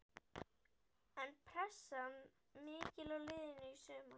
Er pressan mikil á liðinu í sumar?